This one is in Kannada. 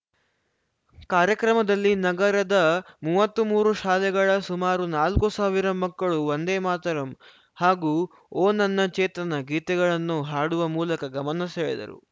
ಕಾರ್ಯಕ್ರಮದಲ್ಲಿ ನಗರದ ಮೂವತ್ಮೂರು ಶಾಲೆಗಳ ಸುಮಾರು ನಾಲ್ಕು ಸಾವಿರ ಮಕ್ಕಳು ವಂದೇ ಮಾತರಂ ಹಾಗೂ ಓ ನನ್ನ ಚೇತನ ಗೀತೆಗಳನ್ನು ಹಾಡುವ ಮೂಲಕ ಗಮನ ಸೆಳೆದರು